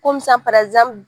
sisan